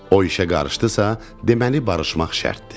O işə qarışdısa, deməli barışmaq şərtdir.